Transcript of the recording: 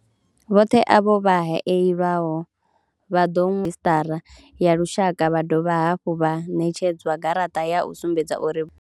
Vhoṱhe avho vha haelwaho vha ḓo redzhisṱara ya lushaka vha dovha hafhu vha ṋetshedzwa garaṱa ya u sumbedza uri vho.